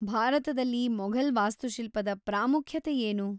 ಭಾರತದಲ್ಲಿ ಮೊಘಲ್‌ ವಾಸ್ತುಶಿಲ್ಪದ ಪ್ರಾಮುಖ್ಯತೆ ಏನು?